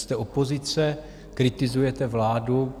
Jste opozice, kritizujete vládu.